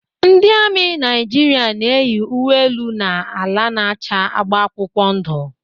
Ndị amị Naijiria na-eyi uwe elu na ala na-acha agba akwụkwọ ndụ.